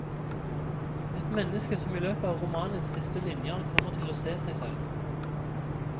Et menneske som i løpet av romanens siste linjer kommer til å se seg selv.